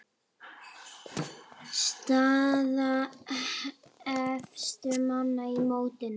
Staða efstu manna í mótinu